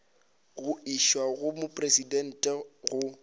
go išwa go mopresidente go